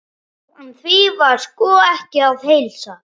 En því var sko ekki að heilsa.